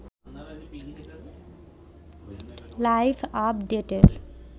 live আপডেটের